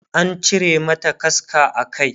ana cire mata kaska a Kai